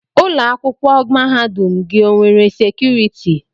Ụlọ akwụkwọ mahadum gị o nwere sekuriti?